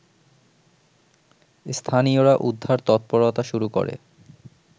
স্থানীয়রা উদ্ধার তৎপরতা শুরু করে